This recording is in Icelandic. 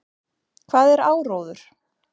Hvað er áróður?